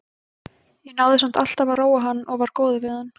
Ég náði samt alltaf að róa hann og var góður við hann.